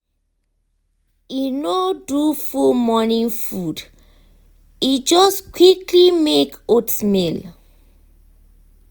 e no do full morning food e just quickly make oatmeal.